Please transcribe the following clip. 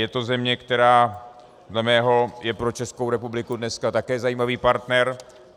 Je to země, která dle mého je pro Českou republiku dneska také zajímavý partner.